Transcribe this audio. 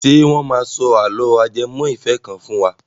Ṣé wọ́n máa sọ àlọ́ ajẹmọ ìfẹ́ kan fún wa?